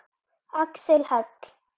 Axel Hall.